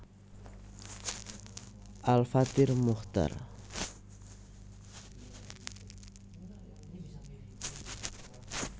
Al Fathir Muchtar